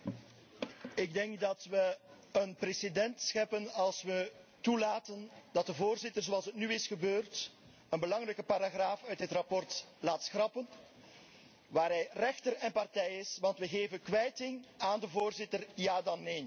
Beste collega's, ik denk dat we een precedent scheppen als we toelaten dat de Voorzitter zoals nu is gebeurd een belangrijke paragraaf uit dit verslag laat schrappen waarbij hij rechter en partij is, want we geven kwijting aan de Voorzitter, ja dan neen.